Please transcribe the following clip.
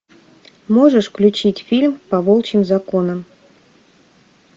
можешь включить фильм по волчьим законам